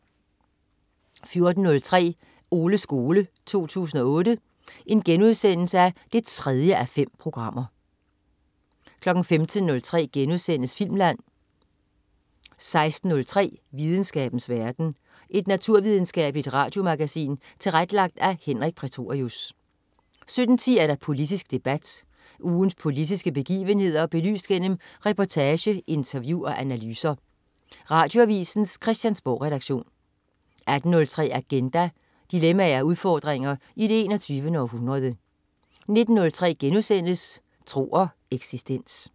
14.03 Oles skole 2008 3:5* 15.03 Filmland* 16.03 Videnskabens verden. Et naturvidenskabeligt radiomagasin tilrettelagt af Henrik Prætorius 17.10 Politisk debat. Ugens politiske begivenheder belyst gennem reportage, interview og analyser. Radioavisens Christiansborgredaktion 18.03 Agenda. Dilemmaer og udfordringer i det 21. århundrede 19.03 Tro og eksistens*